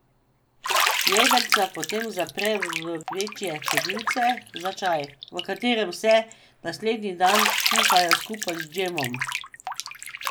Jedrca potem zapre v večje cedilce za čaj, v katerem se naslednji dan kuhajo skupaj z džemom.